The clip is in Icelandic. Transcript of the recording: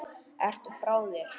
Ertu frá þér!?